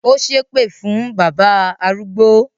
Ó ṣépè fún bábà arúgbó